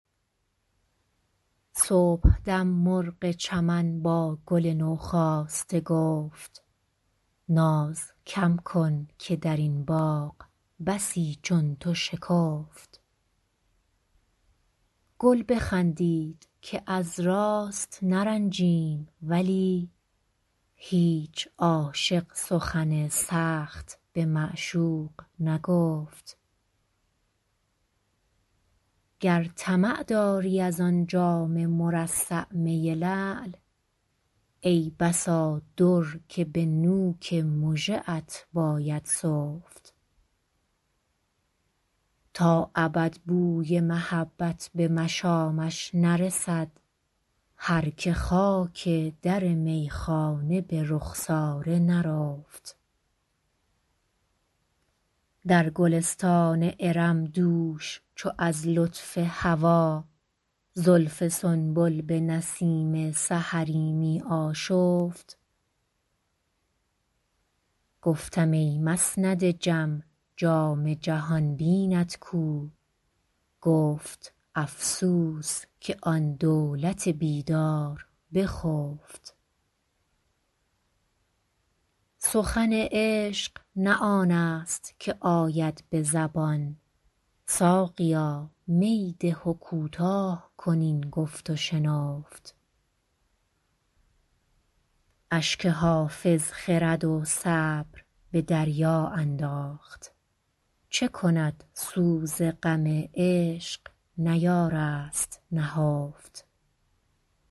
صبحدم مرغ چمن با گل نوخاسته گفت ناز کم کن که در این باغ بسی چون تو شکفت گل بخندید که از راست نرنجیم ولی هیچ عاشق سخن سخت به معشوق نگفت گر طمع داری از آن جام مرصع می لعل ای بسا در که به نوک مژه ات باید سفت تا ابد بوی محبت به مشامش نرسد هر که خاک در میخانه به رخسار نرفت در گلستان ارم دوش چو از لطف هوا زلف سنبل به نسیم سحری می آشفت گفتم ای مسند جم جام جهان بینت کو گفت افسوس که آن دولت بیدار بخفت سخن عشق نه آن است که آید به زبان ساقیا می ده و کوتاه کن این گفت و شنفت اشک حافظ خرد و صبر به دریا انداخت چه کند سوز غم عشق نیارست نهفت